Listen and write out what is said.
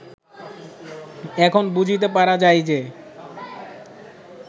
এখন বুঝিতে পারা যায় যে